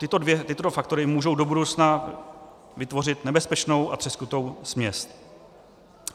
Tyto dva faktory můžou do budoucna vytvořit nebezpečnou a třeskutou směs.